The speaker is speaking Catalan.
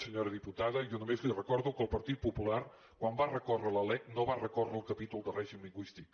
senyora diputada jo només li recordo que el partit popular quan va recórrer contra la lec no va recórrer contra el capítol de règim lingüístic